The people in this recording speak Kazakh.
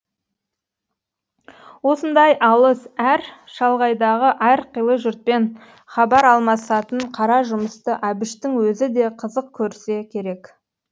осындай алыс әр шалғайдағы әрқилы жұртпен хабар алмасатын қара жұмысты әбіштің өзі де қызық көрсе керек